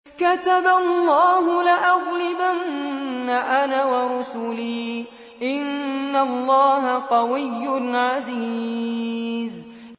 كَتَبَ اللَّهُ لَأَغْلِبَنَّ أَنَا وَرُسُلِي ۚ إِنَّ اللَّهَ قَوِيٌّ عَزِيزٌ